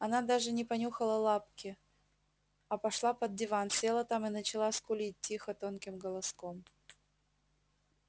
она даже не понюхала лапки а пошла под диван села там и начала скулить тихо тонким голоском